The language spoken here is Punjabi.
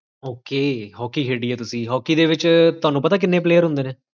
ok ਹੋਕੀ ਖੇਡੀ ਆ ਤੁਸੀਂਹੋਕੀ ਦੇ ਵਿੱਚ ਪਤਾ ਕਿੰਨੇ player ਹੁੰਦੇ ਨੇ